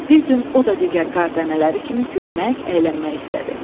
Bir gün o da digər qar dənələri kimi gülmək, əylənmək istədi.